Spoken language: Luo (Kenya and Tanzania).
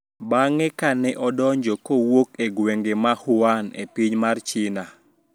Bang`e ka ne odonjo kowuok e gwenge ma Wuhan e piny mar China